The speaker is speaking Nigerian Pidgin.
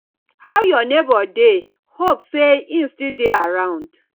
how your neighbor dey hope say im still dey around